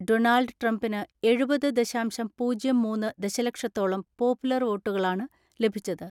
Donald ട്രംപിന് എഴുപത് ദശാംശം പൂജ്യം മൂന്ന് ദശലക്ഷത്തോളം പോപ്പുലർ വോട്ടുകളാണ് ലഭിച്ചത്.